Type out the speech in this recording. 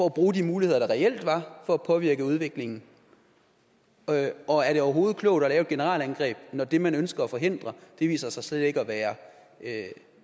at bruge de muligheder der reelt var for at påvirke udviklingen og er det overhovedet klogt at lave et generalangreb når det man ønsker at forhindre viser sig slet ikke at være